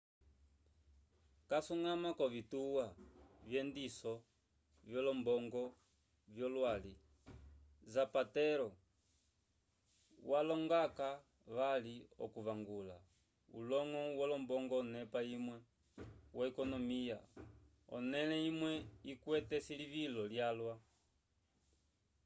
casuñgama k'ovituwa vyendiso vyolombongo vyolwali zapatero walonga-ko vali okuvangula uloñgo wolombongo onepa imwe yo-ekonomiya onẽle imwe ikwete esilivilo lyalwa